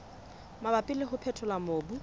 mabapi le ho phethola mobu